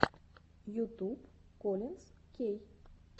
ютуб коллинз кей